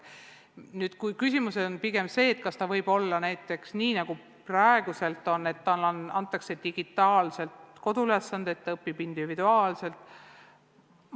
Nüüd, küsimus on pigem selles, kas võiks olla näiteks nii, nagu on praegu, et lapsele antakse kodused ülesanded digitaalselt ja ta õpib individuaalselt.